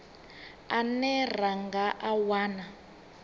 ane ra nga a wana